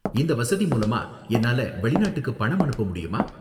இந்த வசதி மூலமா என்னால வெளிநாட்டுக்கு பணம் அனுப்ப முடியுமா?